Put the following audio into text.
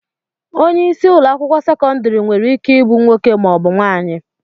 Onye isi ụlọakwụkwọ sekọndịrị nwereike ibu nwoke maọbụ nwaanyị